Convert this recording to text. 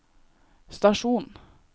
stasjon